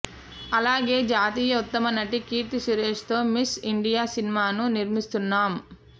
అలాగే జాతీయ ఉత్తమనటి కీర్తి సురేశ్ తో మిస్ ఇండియా సినిమాను నిర్మిస్తున్నాం